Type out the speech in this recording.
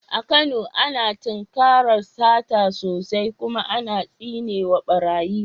A Kano, ana tinkarar sata sosai, ana kuma tsine wa barayi.